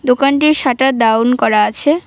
দোকানটির shutter down করা আছে।